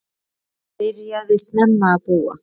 Hann byrjaði snemma að búa.